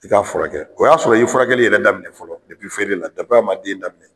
I ka furakɛ o y'a sɔrɔ i ye furakɛli yɛrɛ daminɛ fɔlɔ feere la, a ma den daminɛ